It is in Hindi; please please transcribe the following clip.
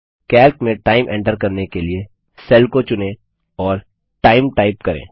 कैल्क में टाइम एन्टर करने के लिए सेल को चुनें और टाइम टाइप करें